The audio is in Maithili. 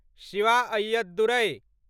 शिवा अय्यदुरै